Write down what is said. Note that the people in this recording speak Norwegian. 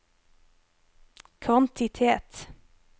kvantitet